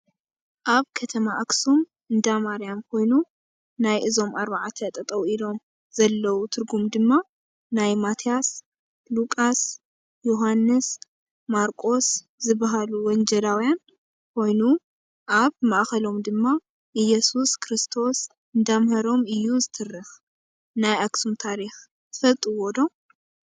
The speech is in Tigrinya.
ኣብ ከተማ ኣክሱም እንዳማርያም ኮይኑ ናይ እዞም ዓርባዕተ ጠጠው ኢሎም ዘለው ትርጉም ድማ ናይ ማትያስ፣ ሊቋስ፣ ዮውሃንስ፣ ማርቆስ ዝበሃሉ ወጀላውያን ኮይኑ ኣብ ማእከሎም ድማ እዮሱስ ኩርስቶስ እንዳምሃሮም እዩ ዝትርክ። ናይ ኣክሱም ታሪክ ትፈልጥዎ ዶ?